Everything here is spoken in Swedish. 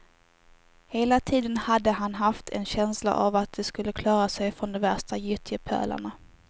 Hela tiden hade han haft en känsla av att de skulle klara sig från de värsta gyttjepölarna.